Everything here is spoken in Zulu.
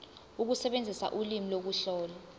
ukusebenzisa ulimi ukuhlola